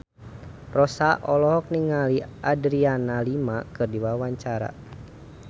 Rossa olohok ningali Adriana Lima keur diwawancara